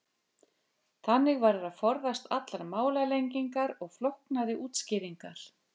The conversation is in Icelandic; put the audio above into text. Þannig verður að forðast allar málalengingar og flóknari útskýringar.